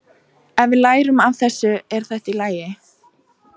Ef við lærum af þessu er þetta allt í lagi.